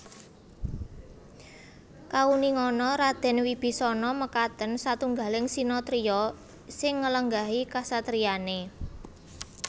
Kauningana Radèn Wibisana makaten satunggaling sinatriya sing nglenggahi kasatriyané